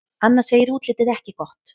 Anna segir útlitið ekki gott.